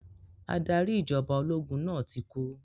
Adarí ìjọba ológun náà ti kú.